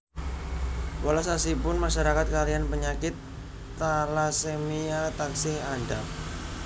Welas asihipun masyarakat kaliyan penyakit talasemia taksih andhap